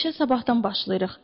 İşə sabahdan başlayırıq.